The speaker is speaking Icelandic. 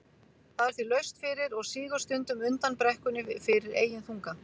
Það er því laust fyrir og sígur stundum undan brekkunni fyrir eigin þunga.